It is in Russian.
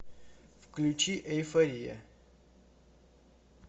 включи эйфория